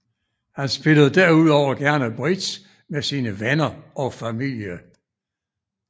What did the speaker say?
Han spillede derudover gerne bridge med sine venner og familie